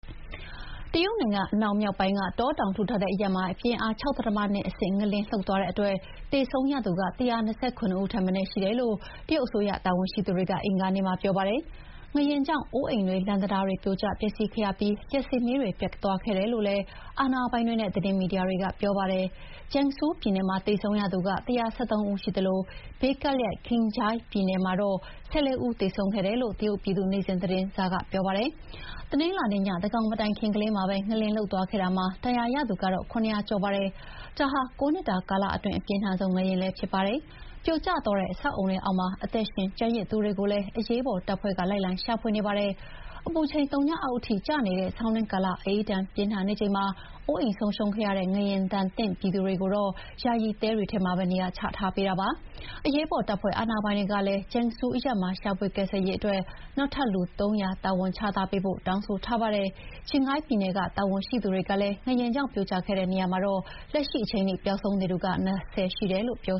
တရုတ်နိုင်ငံအနောက်မြောက်ပိုင်းက တောတောင်ထူထပ်တဲ့အရပ်မှာ ပြင်းအား ၆.၂ အဆင့် ငလျင်လှုပ်သွားတဲ့အတွက် သေဆုံးရသူ အနည်းဆုံး ၁၃၁ ဦး ရှိတယ်လို့ တရုတ်အစိုးရတာဝန်ရှိသူတွေက အင်္ဂါနေ့မှာ ပြောပါတယ်။ ငလျင်ကြောင့် အိုးအိမ်တွေ၊ လမ်းတံတားတွေ ပြိုကျပျက်စီးခဲ့ရပြီး လျှပ်စစ်မီးတွေလည်းပြတ်သွားခဲ့တယ်လို့လည်း အာဏာပိုင်တွေနဲ့ သတင်းမီဒီယာတွေက ပြောပါတယ်။ Gansu ပြည်နယ်မှာ သေဆုံးသူက ၁၁၃ ဦးရှိသလို ဘေးကပ်လျက် Qinghai ပြည်နယ်မှာတော့ ၁၄ ဦးသေဆုံးခဲ့တယ်လို့ တရုတ်ပြည်သူ့နေ့စဥ်သတင်းစာကပြောပါတယ်။ တနင်္လာနေ့ ညသန်းခေါင်မတိုင်ခင်ကလေးမှာပဲ ငလျင်လှုပ်သွားခဲ့တာမှာ ဒဏ်ရာရသူကတော့ ၇၀၀ ကျော်ရှိပါတယ်။ ဒါဟာ ၉ နှစ်တာကာလအတွင်း အပြင်းထန်ဆုံး ငလျင်လည်းဖြစ်ပါတယ်။ ပြိုကျသွားတဲ့ အဆောက်အအုံတွေအောက်မှာ အသက်ရှင်ကျန်ရစ်သူတွေကိုလည်း အရေးပေါ်တပ်ဖွဲ့ က လိုက်လံရှာဖွေနေပါတယ်။ အပူချိန် သုညအောက်ထိကျနေတဲ့ဆောင်းတွင်းကာလ အအေးဒဏ်ပြင်းထန်နေချိန်မှာ အိုးအိမ်ဆုံးရှုံးခဲ့ကြတဲ့ ငလျင်ဒဏ်သင့်ပြည်သူတွေကိုတော့ ယာယီတဲတွေထဲမှာပဲ နေရာချထားပေးပါတယ်။ အရေးပေါ်တပ်ဖွဲ့ အာဏာပိုင်တွေကလည်း Gansu အရပ်မှာရှာဖွေကယ်ဆယ်ရေးအတွက် နောက်ထပ်လူ ၃၀၀ တာဝန်ချထားပေးဖို့ တောင်းဆိုထားပါတယ်။ Qinghai အာဏာပိုင်တွေကလည်း ငလျင်ကြောင့် မြေပြိုကျခဲ့တဲ့နေရာမှာတော့ လက်ရှိချိန်ထိ ပျောက်ဆုံးနေသူ ၂၀ ရှိတယ်လို့ ပြော